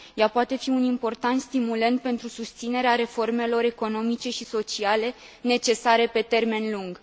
Ea poate fi un important stimulent pentru susținerea reformelor economice și sociale, necesare pe termen lung.